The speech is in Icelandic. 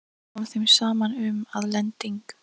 Kom þeim saman um, að lending